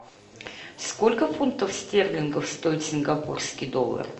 сколько фунтов стерлингов стоит сингапурский доллар